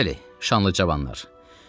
Bəli, şanlı cavanlar.